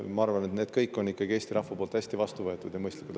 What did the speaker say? Ma arvan, et need kõik asjad on ikkagi Eesti rahva poolt hästi vastu võetud ja mõistlikud.